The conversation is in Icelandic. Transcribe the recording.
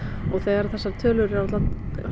og þegar þessar tölur eru allar